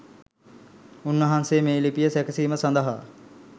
උන් වහන්සේ මේ ලිපිය සැකසීම සඳහා